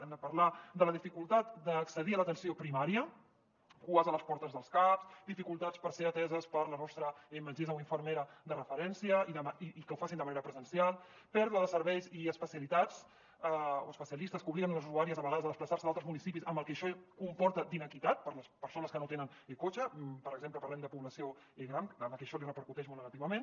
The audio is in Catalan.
hem de parlar de la dificultat d’accedir a l’atenció primària cues a les portes dels caps dificultats per ser ateses per la nostra metgessa o infermera de referència i que ho facin de manera presencial pèrdua de serveis i especialitats o especialistes que obliguen les usuàries a vegades a desplaçar se a altres municipis amb el que això comporta d’iniquitat per a les persones que no tenen cotxe per exemple parlem de població gran a la que això li repercuteix molt negativament